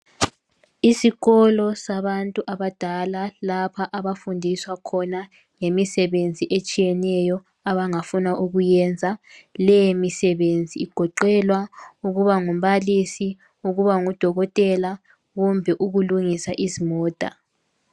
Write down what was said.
Isikolo sabantu abadala. Lapha abafundiswa khona ngemisebenzi etshiyeneyo, abangafuna ukuyenza. Lemisebenzi igoqela ukuba ngumballisi, ukuba ngudokotela. Kumbe ukulungisa izimota.